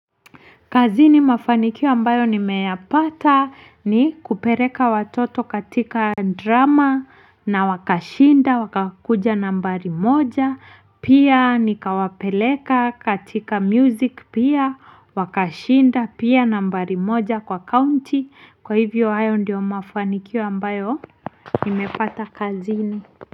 Kazini mafanikio ambayo nimeyapata ni kupeleka watoto katika drama na wakashinda wakakuja nambari moja pia nikawapeleka katika music pia wakashinda pia nambari moja kwa county kwa hivyo hayo ndio mafanikio ambayo nimepata kazini.